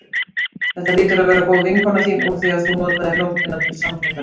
Þetta hlýtur að vera góð vinkona þín úr því að þú notaðir nóttina til samfundarins.